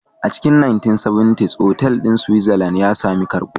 A cikin 1970s, otal ɗin a Switzerland ya sami karbuwa